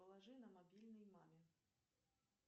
положи на мобильный маме